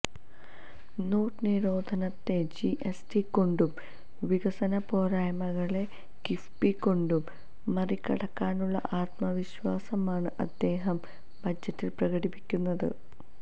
not നിരോധനത്തെ GST കൊണ്ടും വികസന പോരായ്മകളെ കിഫ്ബി കൊണ്ടും മറികടക്കാനുള്ള ആത്മവിശ്വാസമാണ് അദ്ദേഹം ബജറ്റിൽ പ്രകടിപ്പിക്കുന്നത്